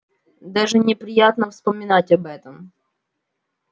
даже неприятно вспоминать об этом